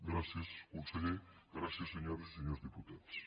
gràcies conseller gràcies senyores i senyors diputats